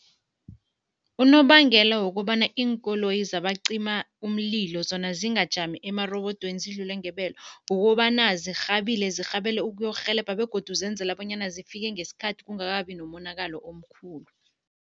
Unobangela wokobana iinkoloyi zabacima umlilo zona zingajami emarobodweni, zidlule ngebelo, kukobana zirhabile. Zirhabele ukuyokurhelebha begodu zenzela bonyana zifike ngesikhathi, kungakabi nomonakalo omkhulu.